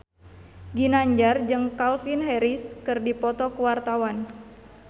Ginanjar jeung Calvin Harris keur dipoto ku wartawan